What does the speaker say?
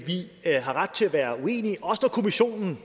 nede i kommissionen